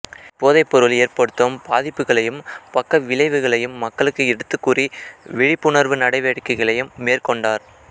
இப்போதைப்பொருள் ஏற்படுத்தும் பாதிப்புகளையும் பக்கவிளைவுகளையும் மக்களுக்கு எடுத்துக்கூறி விழிப்புணர்வு நடவடிக்கைகளையும் மேற்கொண்டார்